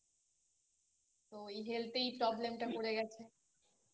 তো এই Health এ এই Problem টা পরে গেছে